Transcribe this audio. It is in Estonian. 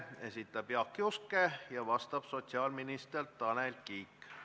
Esitab Jaak Juske ja vastab sotsiaalminister Tanel Kiik.